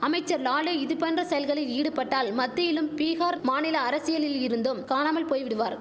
அமைச்சர் லாலே இது போன்ற செயல்களில் ஈடுபட்டால் மத்தியிலும் பீகார் மாநில அரசியலில் இருந்தும் காணாமல் போய்விடுவார்